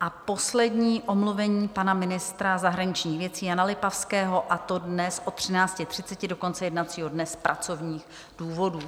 A poslední omluvení pana ministra zahraničních věcí Jana Lipavského, a to dnes od 13.30 do konce jednacího dne z pracovních důvodů.